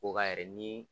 Ko ka yɛrɛ ni